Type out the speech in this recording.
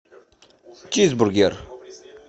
чизбургер